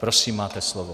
Prosím, máte slovo.